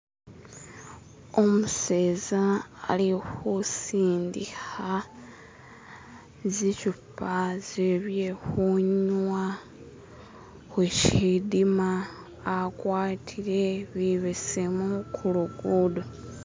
Umuseza ali kusindika zichupa ze bye kunywa ku shidiima , agwatile bibesemu ku luguudo.